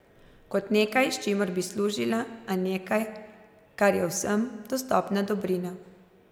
Kot nekaj, s čimer bi služila, ali nekaj, kar je vsem dostopna dobrina.